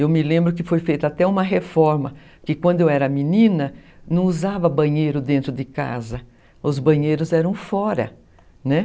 Eu me lembro que foi feita até uma reforma, que quando eu era menina, não usava banheiro dentro de casa, os banheiros eram fora, né?